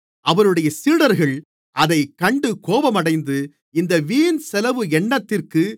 அவருடைய சீடர்கள் அதைக் கண்டு கோபமடைந்து இந்த வீண் செலவு என்னத்திற்கு